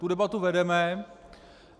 Tu debatu vedeme.